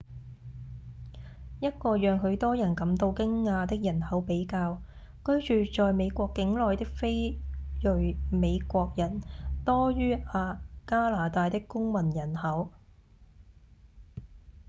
一個讓許多人感到驚訝的人口比較：居住在美國境內的非裔美國人多於加拿大的公民人口